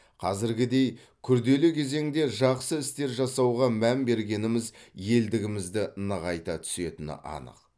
қазіргідей күрделі кезеңде жақсы істер жасауға мән бергеніміз елдігімізді нығайта түсетіні анық